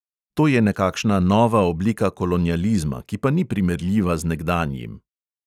To je nekakšna nova oblika kolonializma, ki pa ni primerljiva z nekdanjim.